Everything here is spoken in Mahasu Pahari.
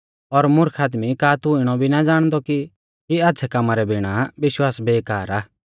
ओ मुर्ख आदमी का तू इणौ भी ना ज़ाणदौ कि आच़्छ़ै कामा रै बिणा विश्वास बेकार आ